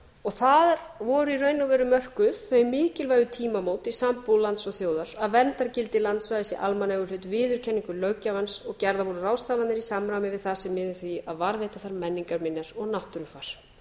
og það voru í raun og veru mörkuð þau mikilvægu tímamót í sambúð lands og þjóðar að velferð gildi um landsvæða í almannaeigu viðurkenningu löggjafans og gerðar voru ráðstafanir í samræmi við það sem miði að því að varðveita þær menningarminjar og náttúrufar